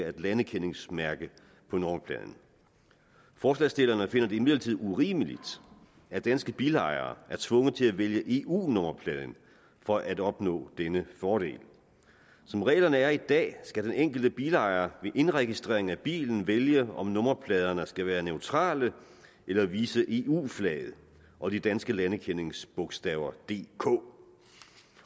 er landekendingsmærke på nummerpladen forslagsstillerne finder det imidlertid urimeligt at danske bilejere er tvunget til at vælge eu nummerpladen for at opnå denne fordel som reglerne er i dag skal den enkelte bilejer ved indregistrering af bilen vælge om nummerpladerne skal være neutrale eller vise eu flaget og de danske landekendingsbogstaver dk